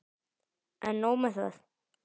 En nóg með það.